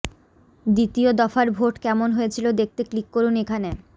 দ্বিতীয় দফার ভোট কেমন হয়েছিল দেখতে ক্লিক করুন এখানে